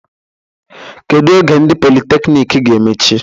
Kedu oge ndị politekniiki ge-emech?